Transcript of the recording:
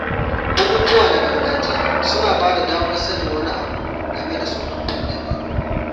Bukukuwa na gargajiya suna ba da damar sanin wani abu game da tsofaffin ɗabi’u.